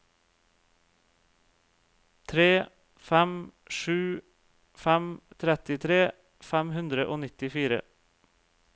tre fem sju fem trettitre fem hundre og nittifire